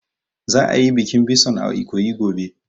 Za a yi bikin bison a Ikoyi gobe